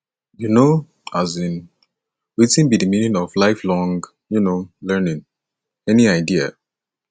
you know um wetin be di meaning of lifelong um learning any idea